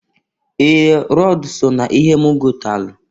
Ee! Rọd so na ihe m gọtalụ.